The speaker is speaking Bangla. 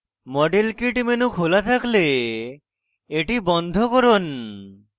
model kit menu খোলা থাকলে এটি বন্ধ করুন